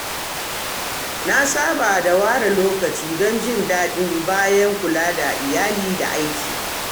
Na saba da ware lokaci don jin daɗi bayan kula da iyali da aiki.